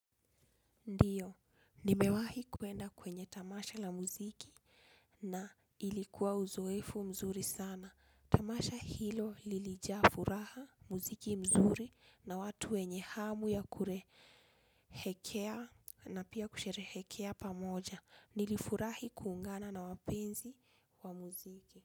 Ndiyo, nimewahi kuenda kwenye tamasha la muziki na ilikuwa uzoefu mzuri sana. Tamasha hilo lilijaa furaha muziki mzuri na watu wenye hamu ya kurehekea na pia kusherehekea pamoja. Nilifurahi kuungana na wapenzi wa muziki.